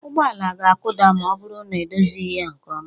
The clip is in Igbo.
Ụgbọ ala ga-akụda ma ọ bụrụ na edozighị ya nke ọma